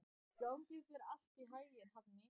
Gangi þér allt í haginn, Hafný.